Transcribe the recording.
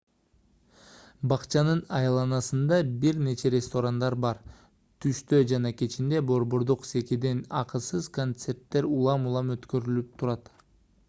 бакчанын айланасында бир нече ресторандар бар түштө жана кечинде борбордук секиден акысыз концерттер улам-улам өткөрүлүп турат